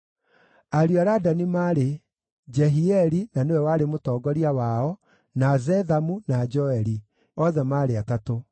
Ariũ a Ladani maarĩ: Jehieli na nĩwe warĩ mũtongoria wao, na Zethamu, na Joeli; othe maarĩ atatũ.